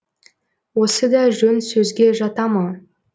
осы да жөн сөзге жата ма